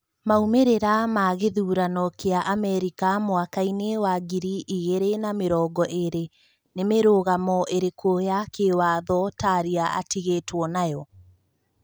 Maumĩrĩra ma gĩthurano kĩa Amerika mwakainĩ wa ngiri igĩrĩ na mĩrongo ĩrĩ: Nĩ mĩrũgamo ĩrĩkũ ya kĩwatho Taria atigĩtwo nayo?